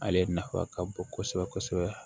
Ale nafa ka bon kosɛbɛ kosɛbɛ